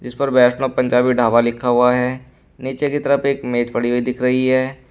ऊपर वैष्णो पंजाबी ढाबा लिखा हुआ है नीचे की तरफ एक मेज पड़ी हुई दिख रही है।